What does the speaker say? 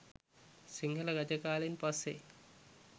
සිංහල රජ කාලෙන් පස්සෙ